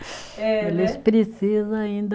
É né. Eles precisa ainda